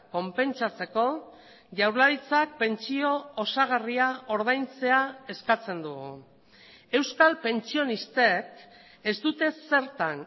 konpentsatzeko jaurlaritzak pentsio osagarria ordaintzea eskatzen dugu euskal pentsionistek ez dute zertan